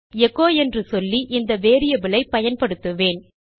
பின் echo என்று சொல்லி இந்த வேரியபிள் ஐ பயன்படுத்துவேன்